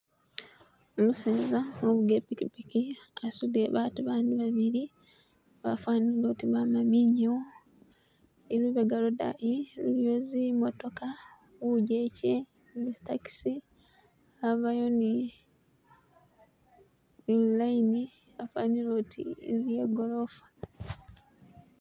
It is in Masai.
Umuseza ufuga I pikipiki asudile baatu abandi babili bafanile oti bama minyawo ilubega lwodani iliyo zi'motoka bujeje ni zi taxi , abayo ni lu line afanile oti inzu ye golofa.